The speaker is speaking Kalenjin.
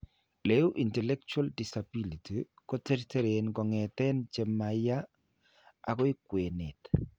Le uu intellectual disability ko terteren kong'eten che ma yaa akoi kwenet.